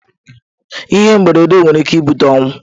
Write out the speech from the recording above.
Ihe mberede nwere ike ibute ọnwụ.